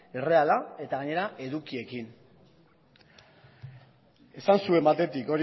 erreala eta gainera edukiekin esan zuen batetik